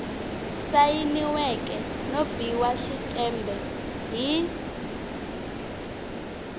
sayiniweke no biwa xitempe hi